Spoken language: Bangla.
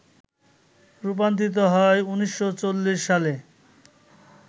রূপান্তরিত হয় ১৯৪০ সালে